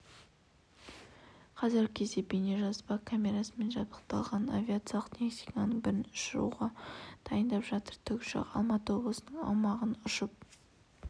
қазіргі кезде бейнежазба камерасымен жабдықталған авиациялық техниканың бірін ұшыруға дайындап жатыр тікұшақ алматы облысының аумағын ұшып